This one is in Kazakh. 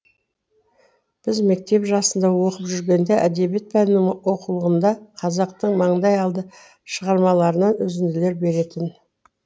біз мектеп жасында оқып жүргенде әдебиет пәнінің оқулығында қазақтың маңдай алды шығармаларынан үзінделер беретін